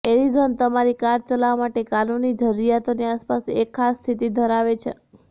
Arizona તમારી car ચલાવવા માટે કાનૂની જરૂરિયાતોની આસપાસ એક ખાસ સ્થિતિ ધરાવે છે